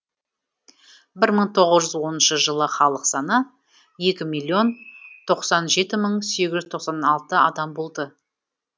бір мың тоңыз жүз оныншы жылы халық саны екі миллион тоқсан жеті мың сегіз жүз тоқсан алты адам болды